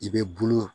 I bɛ bulon